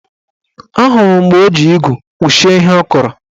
Ahụrụ m mgbe o ji igu kpuchie ihe ọ kọrọ